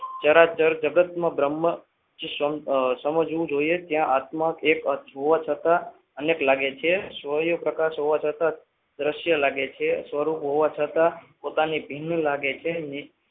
જરા ચલ જગતમાં અમ બ્રહ્મ સમજવું જોઈએ અને આત્મા એક હોવા છતાં અનેક લાગે છે શૌર્ય પ્રકાશ હોવા છતાં દ્રશ્ય લાગે છે સ્વરૂપ હોવા છતાં પોતાને ભિન્ન લાગે છે.